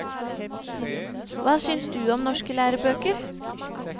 Hva syns du om norske lærebøker?